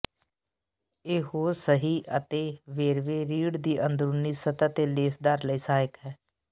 ਇਹ ਹੋਰ ਸਹੀ ਅਤੇ ਵੇਰਵੇ ਰੀੜ ਦੀ ਅੰਦਰੂਨੀ ਸਤ੍ਹਾ ਅਤੇ ਲੇਸਦਾਰ ਲਈ ਸਹਾਇਕ ਹੈ